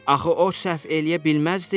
Axı o səhv eləyə bilməzdi?